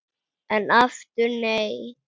En aftur nei!